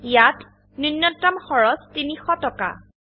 ইয়াত নূন্যতম খৰচ ৩০০ টকা